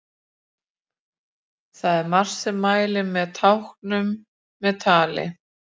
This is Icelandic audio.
Það er margt sem mælir með táknum með tali.